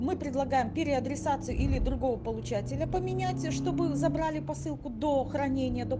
мы предлагаем переадресацию или другого получателя поменять чтобы забрали посылку до хранения до